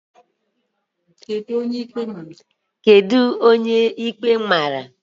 Kedu onye ikpe mara?